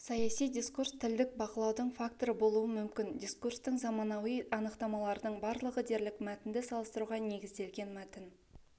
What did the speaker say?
саяси дискурс тілдік бақылаудың факторы болуы мүмкін дискурстың заманауи анықтамалардың барлығы дерлік мәтінді салыстыруға негізделген мәтін